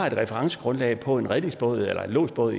et referencegrundlag på en redningsbåd eller lodsbåd